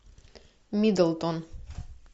миддлтон